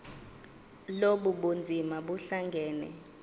lobu bunzima buhlangane